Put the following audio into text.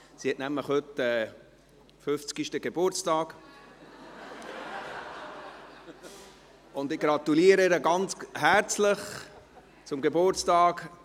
Sie hat nämlich heute ihren 50. Geburtstag und ich gratuliere ihr ganz herzlich zum Geburtstag!